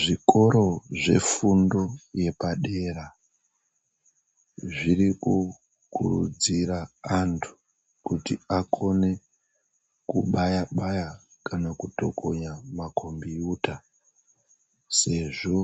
Zvikoro zvefundo yepadera zviri kukurudzira andu kuti akone kubaya baya kana kutokonya makombuyuta sezvo